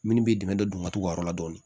Minnu bɛ dɛmɛ don u ka t'u ka yɔrɔ la dɔɔnin